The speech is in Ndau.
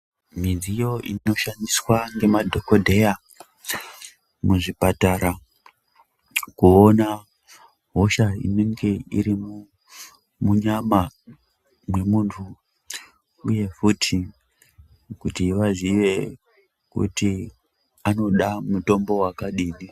Midziyo inoshandiswa ngemadhokodheya muzvipatara kuona hosha inenge iri munyama mwemuntu uye futi kuti vazive kuti anoda mutombo wakadini.